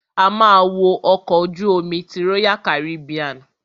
A ma wo ọkọ̀ ojú omi ti royal Caribbean.